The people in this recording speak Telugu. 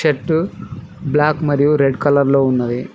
షర్టు బ్లాక్ మరియు రెడ్ కలర్ లో ఉన్నది.